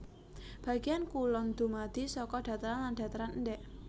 Bagéan kulon dumadi saka dhataran lan dhataran endhèk